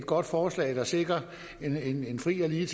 godt forslag der sikrer en en fri og lige